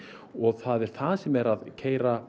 og það er það sem er að keyra